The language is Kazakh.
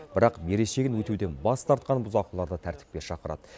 бірақ берешегін өтеуден бас тартқан бұзақыларды тәртіпке шақырады